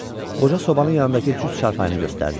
Qoca sobanın yanındakı cüt çarpayını göstərdi.